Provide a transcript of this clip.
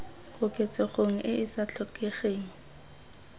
koketsegong e e sa tlhokegeng